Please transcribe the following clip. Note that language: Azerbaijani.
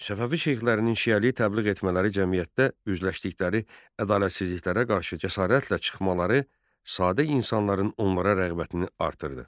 Səfəvi şeyxlərinin şiəliyi təbliğ etmələri cəmiyyətdə üzləşdikləri ədalətsizliklərə qarşı cəsarətlə çıxmaları sadə insanların onlara rəğbətini artırdı.